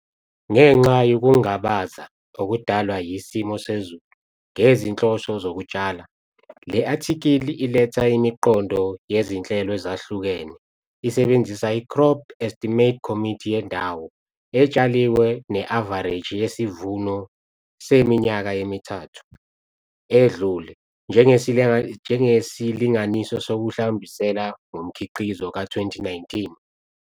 Ngenxa yokungabaza okudalwa yisimo sezulu ngezinhloso zokutshala, le athikhili iletha imiqondo yezinhlelo ezahlukene isebenzisa i-Crop Estimate's Committee yendawo etshaliwe ne-avareji yesivuno seminyaka emithathu edlule njengesilinganiso sokuhlawumbisela ngomkhiqizo ka-2019.